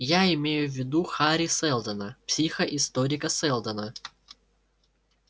я имею в виду хари сэлдона психоисторика сэлдона